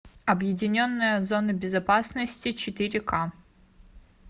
объединенная зона безопасности четыре ка